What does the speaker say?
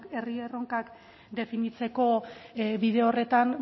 herri erronkak definitzeko bide horretan